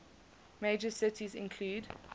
major cities include